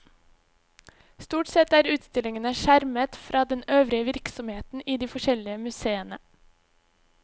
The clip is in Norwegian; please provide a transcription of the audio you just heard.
Stort sett er utstillingene skjermet fra den øvrige virksomheten i de forskjellige museene.